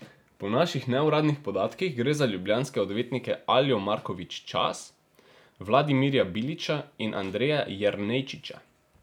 Po naših neuradnih podatkih gre za ljubljanske odvetnike Aljo Markovič Čas, Vladimirja Bilića in Andreja Jernejčiča.